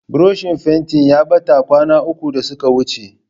Burushin fentin ya ɓata kwana uku da suka wuce.